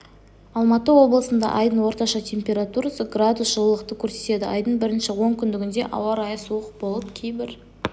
алматы облысында айдың орташа температурасы градус жылылықты көрсетеді айдың бірінші онкүндігінде ауа райы суық болып кейбір